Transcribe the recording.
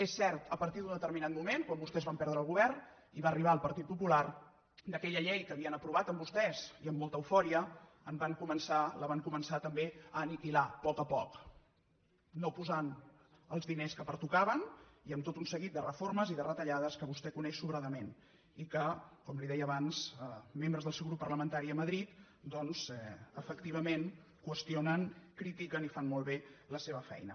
és cert a par·tir de determinat moment quan vostès van perdre el govern i va arribar el partit popular aquella llei que havien aprovat amb vostès i amb molta eufòria la van començar també a aniquilar a poc a poc no posant els diners que pertocaven i amb tot un seguit de reformes i de retallades que vostè coneix sobradament i que com li deia abans membres del seu grup parlamentari a madrid doncs efectivament qüestionen critiquen i fan molt bé la seva feina